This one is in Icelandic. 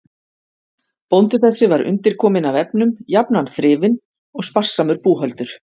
Bóndi þessi var undirkominn af efnum, jafnan þrifinn og sparsamur búhöldur.